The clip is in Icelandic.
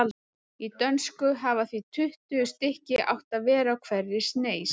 Í dönsku hafa því tuttugu stykki átt að vera á hverri sneis.